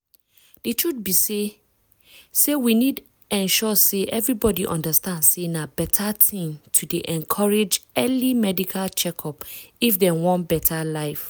di truth be say say we need ensure say everybody understand say na beta thing to dey encourage early medical check-up if dem want beta life.